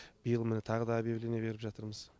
биыл міні тағы да объявление беріп жатырмыз